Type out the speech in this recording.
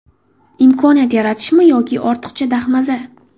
Imkoniyat yaratishmi yo ortiqchi dahmaza.